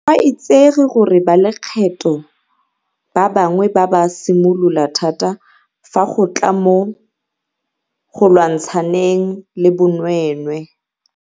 Go a itsege gore balekgetho ba bangwe ba ba mosola thata fa go tla mo go lwantshaneng le bonweenwee.